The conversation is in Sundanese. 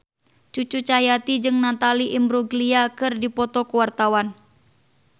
Cucu Cahyati jeung Natalie Imbruglia keur dipoto ku wartawan